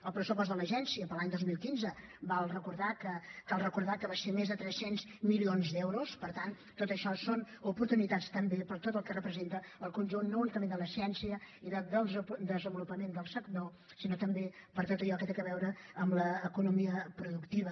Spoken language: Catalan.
el pressupost de l’agència per a l’any dos mil quinze cal recordar que va ser de més de tres cents milions d’euros per tant tot això són oportunitats també per tot el que representa el conjunt no únicament de la ciència i del desenvolupament del sector sinó també per tot allò que té a veure amb l’economia productiva